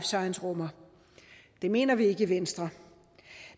science rummer det mener vi ikke i venstre